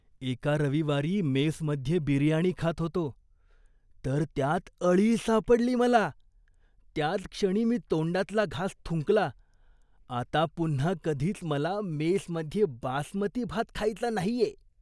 एका रविवारी मेसमध्ये बिर्याणी खात होतो, तर त्यात अळी सापडली मला, त्याच क्षणी मी तोंडातला घास थुंकला. आता पुन्हा कधीच मला मेसमध्ये बासमती भात खायचा नाहीये.